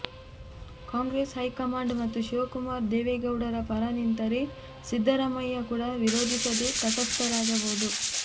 Congress high command ಮತ್ತು ಶಿವಕುಮಾರ್ ದೇವೇಗೌಡರ ಪರ ನಿಂತರೆ ಸಿದ್ದರಾಮಯ್ಯ ಕೂಡ ವಿರೋಧಿಸದೆ ತಟಸ್ಥರಾಗಬಹುದು